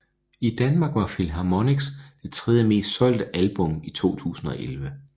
I Danmark var Philharmonics det tredje mest solgte album i 2011